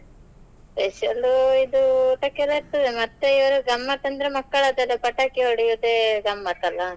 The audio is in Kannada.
Special ಇದು ಎಲ್ಲ ಇರ್ತದೆ ಮತ್ತೆ ಗಮ್ಮತ್ ಅಂದ್ರೆ ಮಕ್ಕಳದ್ದೆಲ್ಲಾ ಪಟಾಕಿ ಹೊಡಿಯೋದೇ ಗಮ್ಮತ್ ಅಲ್ಲಾ .